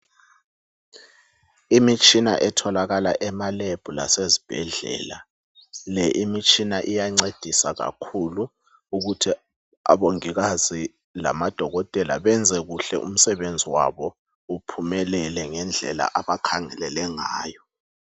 Imitshina etholakala ema lab lasezibhedlela .Le imitshina iyancedisa kakhulu ukuthi abongikazi lamadokotela benze kuhle umsebenzi wabo uphumelele ngendlela abakhangelele ngayo